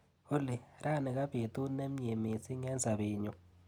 Olly, rani kabetut nemnyee missing eng sapenyu.